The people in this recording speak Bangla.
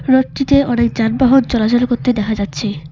রোড -টিতে অনেক যানবাহন চলাচল করতে দেখা যাচ্ছে।